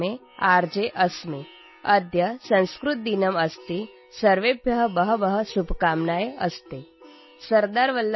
माध्यमे आर्.जे. अस्मि | अद्य संस्कृतदिनम् अस्ति | सर्वेभ्यः बहव्यः